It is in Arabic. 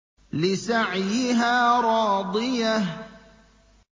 لِّسَعْيِهَا رَاضِيَةٌ